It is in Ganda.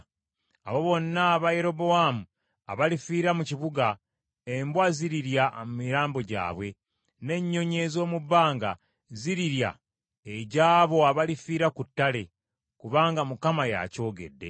Abo bonna aba Yerobowaamu abalifiira mu kibuga, embwa zirirya emirambo gyabwe, n’ennyonyi ez’omu bbanga zirirya egy’abo abalifiira ku ttale, kubanga Mukama y’akyogedde!’